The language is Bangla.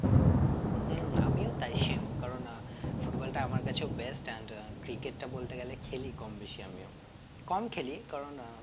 হম আমিও তাই same কারণ না football টা আমার কাছেও best and cricket টা বলতে গেলে খেলি কম বেশি আমিও কম খেলি কারণ